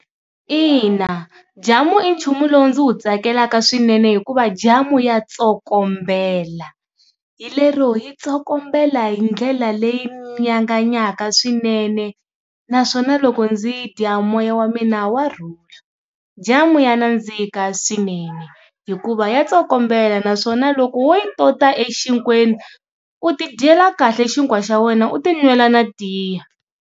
Ina, jamu i nchumu lowu ndzi wu tsakelaka swinene hikuva jamu ya tsokombela hi lero yi tsokombela hi ndlela leyi nyanganyaka swinene naswona loko ndzi yi dya moya wa mina wa rhula. Jamu ya nandziha swinene hikuva ya tsokombela naswona loko wo yi tota exikolweni u ti dyela kahle xinkwa xa wena u ti nwela na tiya.